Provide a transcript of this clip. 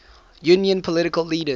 union political leaders